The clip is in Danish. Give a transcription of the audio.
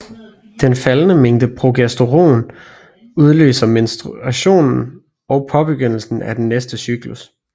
Den faldende mængde progesteron udløser menstruationen og påbegyndelsen af det næste cyklus